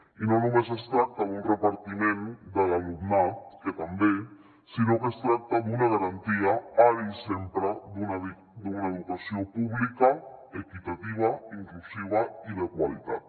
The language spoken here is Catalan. i no només es tracta d’un repartiment de l’alumnat que també sinó que es tracta d’una garantia ara i sempre d’una educació pública equitativa inclusiva i de qualitat